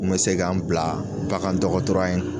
N kun mɛ se ka n bila bagandɔkɔtɔya in